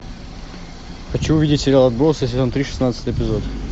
хочу увидеть сериал отбросы сезон три шестнадцатый эпизод